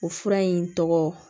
O fura in tɔgɔ